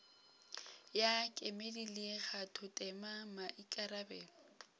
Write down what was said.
ya kemedi le kgathotema maikarabelo